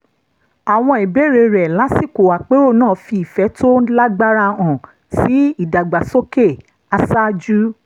àwọn ìbéèrè rẹ̀ lásìkò àpérò náà fi ìfẹ́ tó lágbára hàn sí ìdàgbàsókè aṣáájú